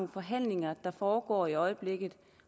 forhandlinger der foregår i øjeblikket